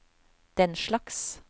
denslags